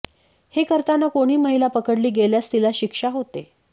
हे करताना कोणी महिला पकडली गेल्यास तिला शिक्षा होते